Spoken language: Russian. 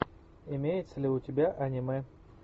имеется ли у тебя аниме